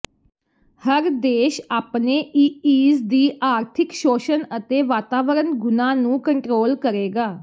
ਹਰ ਦੇਸ਼ ਆਪਣੇ ਈਈਜ਼ ਦੀ ਆਰਥਿਕ ਸ਼ੋਸ਼ਣ ਅਤੇ ਵਾਤਾਵਰਨ ਗੁਣਾਂ ਨੂੰ ਕੰਟਰੋਲ ਕਰੇਗਾ